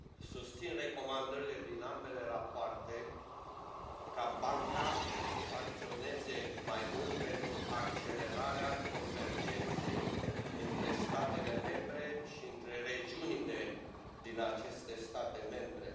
Susțin recomandările din ambele rapoarte, ca Banca să acționeze mai mult pentru accelerarea convergenței între statele membre și între regiunile din aceste state membre.